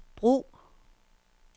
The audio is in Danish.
brug